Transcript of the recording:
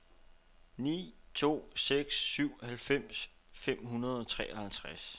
ni to seks syv halvfems fem hundrede og treoghalvtreds